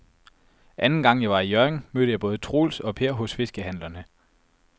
Anden gang jeg var i Hjørring, mødte jeg både Troels og Per hos fiskehandlerne.